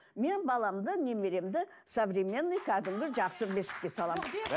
мен баламды немеремді современный кәдімгі жақсы бесікке саламын